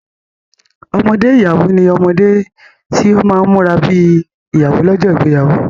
Ọmọdé ìyàwó ní omode tí ọ má múra bi ìyàwó lójó ìgbéyàwó.